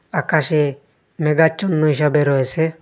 আকাশে মেঘাচ্ছন্ন হিসাবে রয়েসে ।